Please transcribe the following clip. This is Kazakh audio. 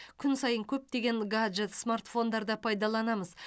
күн сайын көптеген гаджет смартфондарды пайдаланамыз